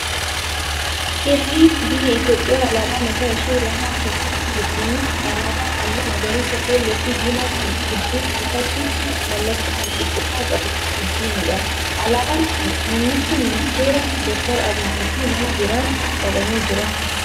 Heerri biyya Itoophiyaa alaabaa mataa ishee lafa keessee jirti. Innis alaabaa halluu magariisa, keelloo fi diimaa kan gidduu isaatti mallattoo walqixumma qabu wajjinidha. Alaabaan kun Muummicha ministeera dookter Abiyyii fi nama biraan qabamee jira.